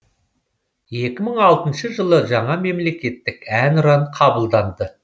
екі мың алтыншы жылы жаңа мемлекеттік әнұран қабылданды